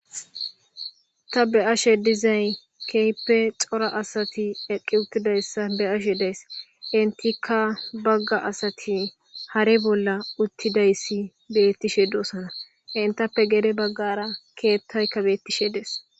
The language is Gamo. Ta beashe dizay kehippe cora assathi eqqi uththidayssa beashe dayss. Entikka bagga assathi haare bolla uththidayssa bethishe dosonna. Entappe gede bagara keththay betishshe dees.